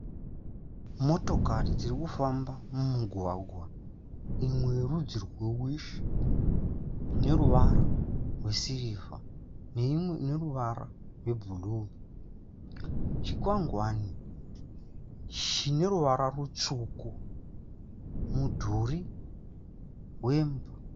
Motokari iri kufamba mumugwagwa imwe yerudzi rwewishi ineruvara rwe sirivha neimwe ine ruvara rwebhru. chinkwangwani chine ruvara ritsvuku. mudhuri rwemba.